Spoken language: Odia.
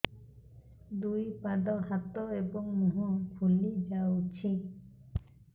ଦୁଇ ପାଦ ହାତ ଏବଂ ମୁହଁ ଫୁଲି ଯାଉଛି